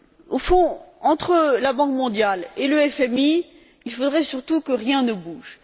Au fond, entre la Banque mondiale et le FMI, il faudrait surtout que rien ne bouge.